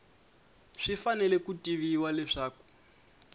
swi fanele ku tiviwa leswaku